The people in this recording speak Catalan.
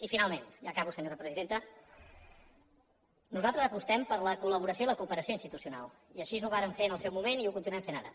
i finalment ja acabo senyora presidenta nosaltres apostem per la col·laboració i la cooperació institucionals i així ho vàrem fer en el seu moment i ho continuem fent ara